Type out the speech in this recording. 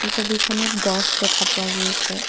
এই ছবিখনত গছ দেখা পোৱা গৈছে।